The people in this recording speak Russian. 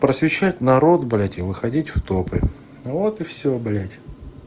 просвещать народ блядь и выходить в топы вот и всё блядь